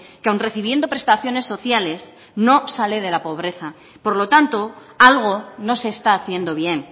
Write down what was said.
que aun recibiendo prestaciones sociales no sale de la pobreza por lo tanto algo no se está haciendo bien